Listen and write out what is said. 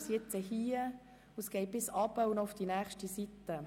Es geht nach unten und führt bis auf die nächste Seite.